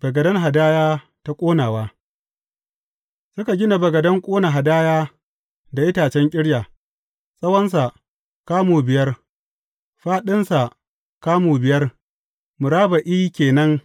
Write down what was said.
Bagaden hadaya ta ƙonawa Suka gina bagaden ƙona hadaya da itacen ƙirya, tsawonsa kamu biyar, fāɗinsa kamu biyar, murabba’i ke nan,